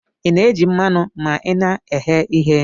Ina eji mmanu ma ina eghe ihe?